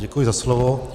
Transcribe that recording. Děkuji za slovo.